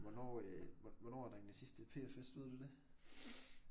Hvornår øh hvornår er der egentlig sidste PF-fest? Ved du det?